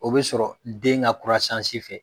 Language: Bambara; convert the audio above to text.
O bɛ sɔrɔ den ka fɛ.